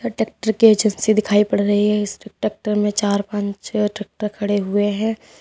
अ tractor की agency दिखाई पड़ रही है। इस टेक्टर में चार पान छह टेक्टर खड़े हुए हैं।